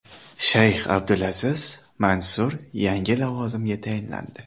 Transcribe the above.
Shayx Abdulaziz Mansur yangi lavozimga tayinlandi.